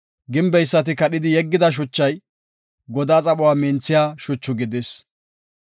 Gimbeysati kadhidi yeggida shuchay, godaa xaphuwa minthiya shuchu gidis.